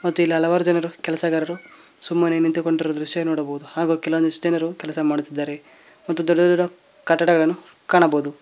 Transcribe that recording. ಮತ್ತೆ ಇಲ್ಲಿ ಹಲವಾರು ಜನರು ಕೆಲಸಗಾರರು ಸುಮ್ಮನೆ ನಿಂತುಕೊಂಡಿರುವ ದೃಶ್ಯ ನೋಡಬಹುದು ಹಾಗು ಕೆಲ ಒಂದಿಷ್ಟು ಜನ ಕೆಲಸ ಮಾಡುತ್ತಿದ್ದಾರೆ ಮತ್ತು ದೊಡ್ಡ ದೊಡ್ಡ ಕಟ್ಟಡಗಳನ್ನು ಕಾಣಬಹುದು.